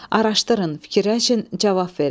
Araşdırın, fikirləşin, cavab verin.